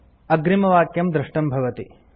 अग्रिमवाक्यं दृष्टं भवति